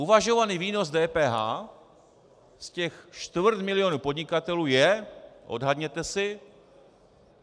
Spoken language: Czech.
Uvažovaný výnos DPH z těch čtvrt milionu podnikatelů je - odhadněte si...